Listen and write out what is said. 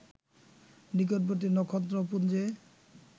নিকটবর্তী নক্ষত্রপুঞ্জে